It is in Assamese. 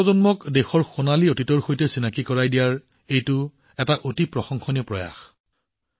আমাৰ যুৱপ্ৰজন্মক দেশৰ সোণালী অতীতৰ সৈতে সংযোগ কৰাৰ এইটো এটা অতি প্ৰশংসনীয় প্ৰয়াস